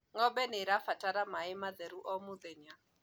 ng'ombe nĩirabatara maĩ matheru o mũthenya